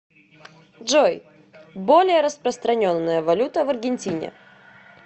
джой более распространенная валюта в аргентине